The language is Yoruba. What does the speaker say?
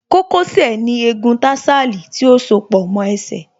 Kókó sẹ̀ ní egun tarsal tí ó soó pọ̀ mọ́ ẹsẹ̀